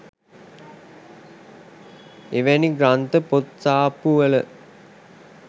එවැනි ග්‍රන්ථ පොත් සාප්පුවල